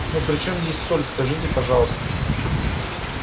ну при чем здесь соль скажите пожалуйста